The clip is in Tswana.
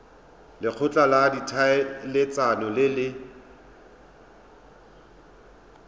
lekgotla la ditlhaeletsano le le